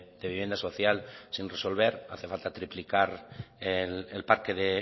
de vivienda social sin resolver hace falta triplicar el parque de